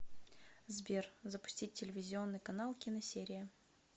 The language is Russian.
сбер запустить телевизионный канал киносерия